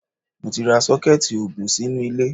Mo ti ra sọ́kẹ́ẹ́tì ogún sínú ilé.